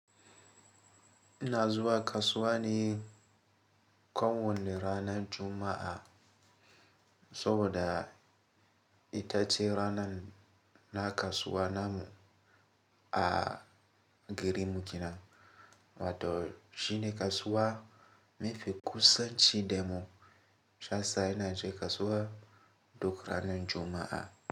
Na zuwa kasuwa ne ko wane ranar Juma'a, saboda ita ce ranan na kasuwa namu a garin mu kenan. Wato shine kasuwa mafi kusanci da mu. Shi ya sa na he kasuwa duk ranar Juma'a.